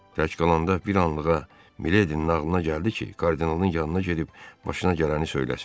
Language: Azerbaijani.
Gec qalanda bir anlığa Miledin nağılına gəldi ki, kardinalın yanına gedib başına gələni söyləsin.